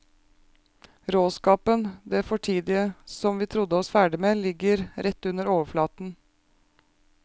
Råskapen, det fortidige som vi trodde oss ferdige med, ligger rett under overflaten.